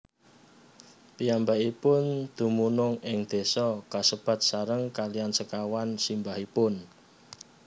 Piyambakipun dumunung ing désa kasebat sareng kaliyan sekawan simbahipun